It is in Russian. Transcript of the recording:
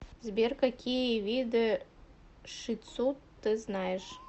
сбер какие виды ши тсу ты знаешь